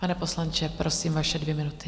Pane poslanče, prosím, vaše dvě minuty.